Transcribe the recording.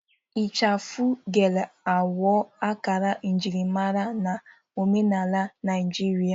Ichafụ Gele aghọwo akara njirimara na omenala Naijiria.